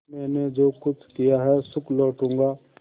मैंने जो कुछ किया है सुख लूटूँगा